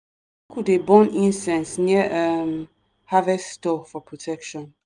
cle dey burn incense near um harvest store for protection.